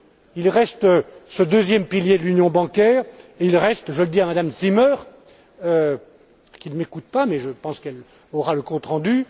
Il reste ce deuxième pilier de l'union bancaire et il reste je le dis à Madame Zimmer, qui ne m'écoute pas mais je pense qu'elle aura le compte rendu...